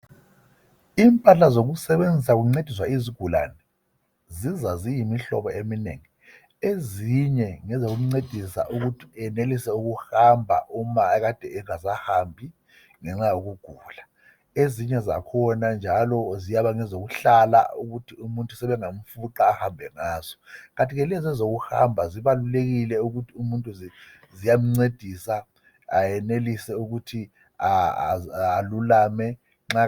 Impahla zokusebenzisa kuncediswa izigulane ziza ziyimihlobo eminengi. Ezinye ngezokuncedisa ukuthi enelise ukuhamba uma ekade engasahambi ngenxa yokugula ezinye zakhona njalo ziyaba ngezokuhlala ukuthi umuntu sebengamfuqa ahambe ngazo. Kanti ke lezo ezokuhamba zibalulekile ukuthi umuntu ziyamncedisa ayenelise ukuthi alulame.